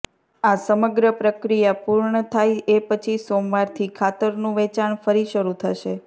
આ સમગ્ર પ્રક્રિયા પૂર્ણ થાય એ પછી સોમવારથી ખાતરનું વેચાણ ફરી શરૂ થશે